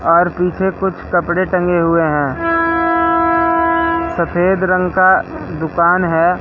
और पिछे कुछ कपड़े टंगे हुए हैं सफेद रंग का दुकान है।